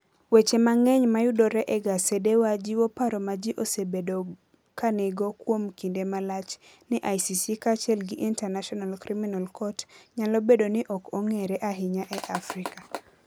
Weche mang'eny mayudore e gasedewa jiwo paro ma ji osebedo ka nigo kuom kinde malach ni ICC kaachiel gi International Criminal Court nyalo bedo ni ok ong'ere ahinya e Afrika.